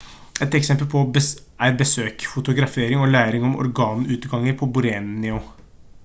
et eksempel er besøk fotografering og læring om orangutanger på borneo